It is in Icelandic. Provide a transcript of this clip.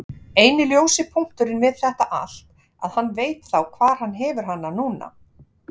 Eini ljósi punkturinn við þetta allt að hann veit þá hvar hann hefur hana núna.